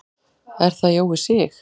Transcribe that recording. Er það Jói Sig?